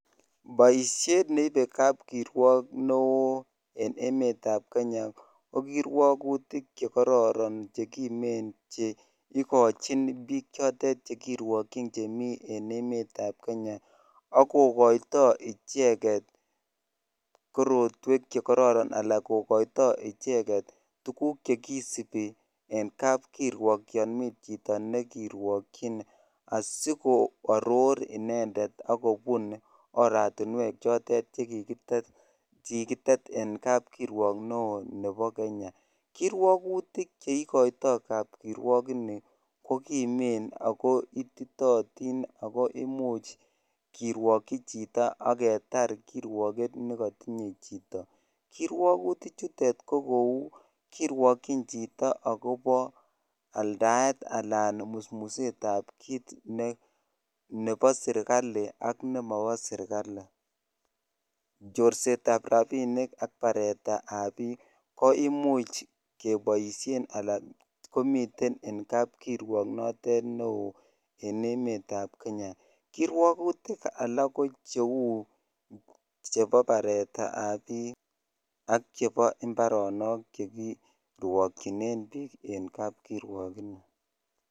Poisheet neipee kirwagik en emet ap kenyaa kokaitai icheget tuguk chekararan ak kopar oratunweek chekararn eng emet ap kenyaa imuchii ketar kirwagutik chepo chito chorseet ap rapinik ko imuch kepaa emet ap kenyaa kirwagutik alak kouu pareet ap piik akalak chechang